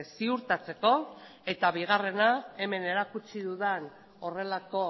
ziurtatzeko eta bigarrena hemen erakutsi dudan horrelako